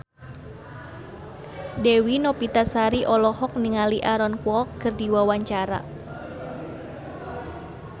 Dewi Novitasari olohok ningali Aaron Kwok keur diwawancara